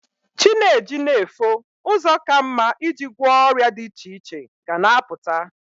Chi na-eji na-efo, ụzọ ka mma i ji gwọ ọrịa dị iche iche ga na-apụta.